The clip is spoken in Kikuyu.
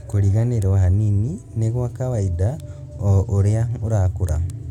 Kũriganĩrwo hanini nĩ gwa kawaida o ũrĩa ũrakũra